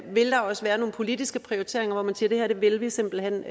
vil der også være nogle politiske prioriteringer hvor man siger at det her vil vi simpelt hen